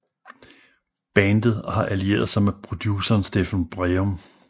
Bandet har allieret sig med produceren Steffen Breum